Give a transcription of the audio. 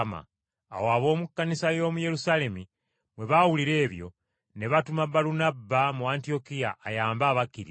Awo ab’omu Kkanisa y’omu Yerusaalemi bwe baawulira ebyo, ne batuma Balunabba mu Antiyokiya ayambe abakkiriza.